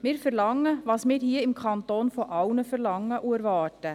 Wir verlangen, was wir hier im Kanton von allen verlangen und erwarten.